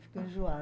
Fico